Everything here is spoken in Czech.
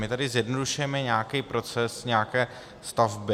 My tady zjednodušujeme nějaký proces nějaké stavby.